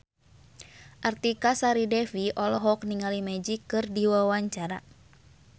Artika Sari Devi olohok ningali Magic keur diwawancara